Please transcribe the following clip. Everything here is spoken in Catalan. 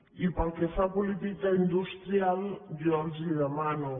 i pel que fa a política industrial jo els demano